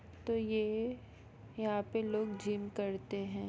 तो ये यहाँ पे लोग जिम करते है।